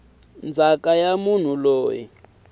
ndzhaka ya munhu loyi a